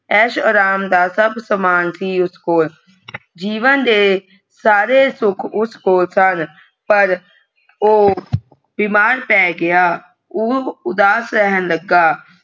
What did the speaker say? ਐਸ਼ ਆਰਾਮ ਦਾ ਸਬ ਸਾਮਾਨ ਸੀ ਉਸ ਕੋਲ ਜੀਵਨ ਦੇ ਸਾਰੇ ਸੁਖ ਉਸ ਕੋਲ ਸੁਨ ਪਰ ਓ ਬਿਮਾਰ ਪੈ ਗਿਆ ਉਹ ਉਦਾਸ ਰਹਿਣ ਲੱਗਾ।